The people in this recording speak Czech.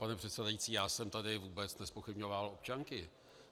Pane předsedající, já jsem tady vůbec nezpochybňoval občanky.